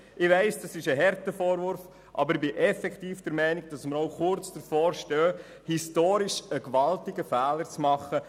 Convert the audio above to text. Ich weiss, es ist ein harter Vorwurf, aber ich bin ebenfalls der Meinung, dass wir kurz davor stehen, einen gewaltigen historischen Fehler zu begehen.